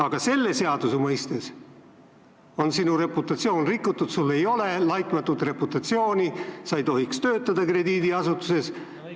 Aga selle seaduse mõistes on sinu reputatsioon rikutud, sul ei ole laitmatut reputatsiooni, sa ei tohiks töötada krediidiasutuses.